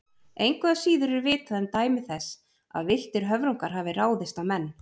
Engu að síður er vitað um dæmi þess að villtir höfrungar hafi ráðist á menn.